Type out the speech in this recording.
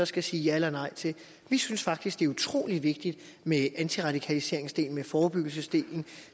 skal sige ja eller nej til vi synes faktisk det er utroligt vigtigt med antiradikaliseringsdelen med forebyggelsesdelen